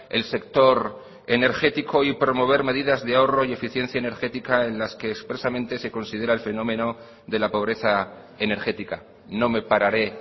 el sector energético y promover medidas de ahorro y eficiencia energética en las que expresamente se considera el fenómeno de la pobreza energética no me pararé